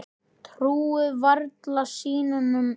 Trúir varla sínum eigin augum.